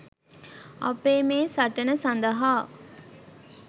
අපේ මේ සටන සඳහා